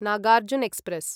Nagarjuna express